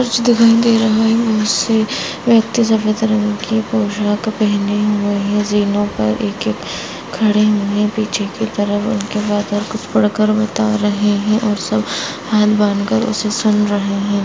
कुछ दिखाई दे रहा है उस से व्यक्ति सफेद रंग की पोशाक पहने हुये है जे नोक पर एक-एक ह खड़े हुए है पीछे की तरफ उनके फादर कुछ पढ कर बता रहे है और सब हाथ बांधकर उसे सुन रहे है।